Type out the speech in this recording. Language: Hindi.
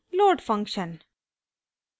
* load फंक्शन